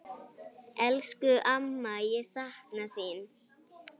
Elsku amma, ég sakna þín.